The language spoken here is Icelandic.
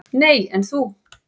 """Nei, en þú?"""